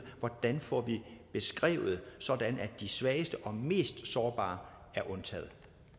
hvordan får vi beskrevet det sådan at de svageste og mest sårbare er undtaget